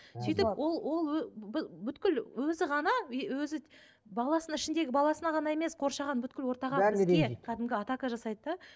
сөйтіп ол ол өзі ғана и өзі баласының ішіндегі баласына ғана емес қоршаған ортаға кәдімгі атака жасайды да